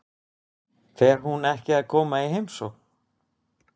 Fer hún ekki að koma í heimsókn?